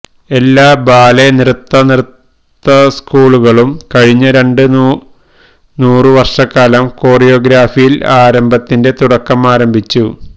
എല്ലാ ബാലെ നൃത്ത നൃത്ത സ്കൂളുകളിലും കഴിഞ്ഞ രണ്ട് നൂറ് വർഷക്കാലം കോറിയോഗ്രഫിയിൽ ആരംഭത്തിന്റെ തുടക്കം ആരംഭിച്ചു